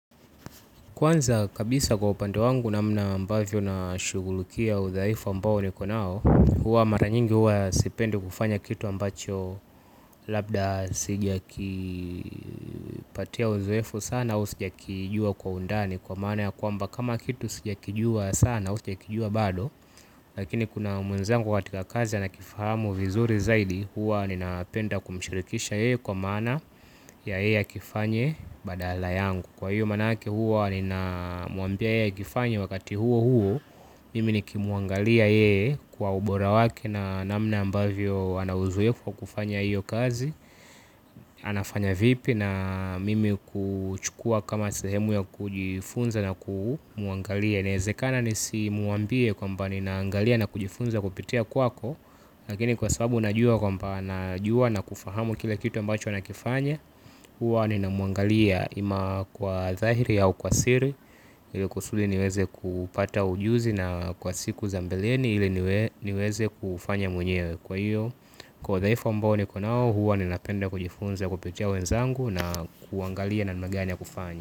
Kwanza kabisa kwa upande wangu namna ambavyo na shugulukia udhaifu ambao ni konao, huwa mara nyingi huwa sipende kufanya kitu ambacho labda sija kipatia uzoefu sana au sija kijua kwa undani kwa maana ya kwamba kama kitu sija kijua sana au sija kijua bado. Lakini kuna mwenzangu watika kazi ya nakifahamu vizuri zaidi. Huwa ni napenda kumshirikisha yeye kwa maana ya yeye akifanye badala yangu. Kwa hiyo manake huwa nina muambia yeye akifanya wakati huo huo. Mimi nikimuangalia ye kwa ubora waki na namna ambavyo anawuzuye kwa kufanya hiyo kazi. Anafanya vipi na mimi kuchukua kama sahemu ya kujifunza na kumuangalia. Nezekana nisi muambia kwa mba ninaangalia na kujifunza kupitea kwako. Lakini kwa sababu unajua kwa mba anajua na kufahamu kila kitu ambacho anakifanya. Huwa nina muangalia ima kwa zahiri au kwa siri. Ile kusuli niweze kupata ujuzi na kwa siku za mbeleni ili niweze kufanya mwenyewe kwa hiyo. Kwa zaifo mbao nikonao huwa nina penda kujifunza kupitia wenzangu na kuangalia nanma gani ya kufanya.